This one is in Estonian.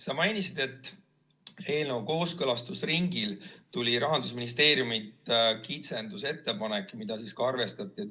Sa mainisid, et eelnõu kooskõlastusringil tuli Rahandusministeeriumilt kitsendusettepanek, mida ka arvestati.